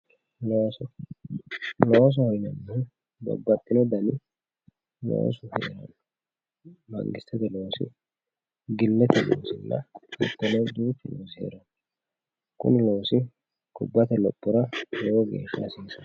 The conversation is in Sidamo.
looso loosoho yineemmhu babbaxino dani loosi heeranno mangistete loosi, gillete loonsannihu heeranno kuni loosi gobbate lophora lowo geeshsha hasiisanno.